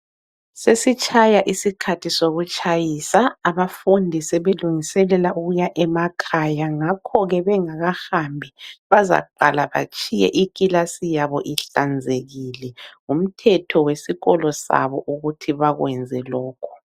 Sesitshaya isikhathi sokutshayisa ,abafundi sebelungiselela ukuya emakhaya .Ngakhoke bengakahambi bazaqala batshiye ikilasi yabo ihlanzekile ,ngumthetho wesikolo sabo ukuthi bakwenze lokhu .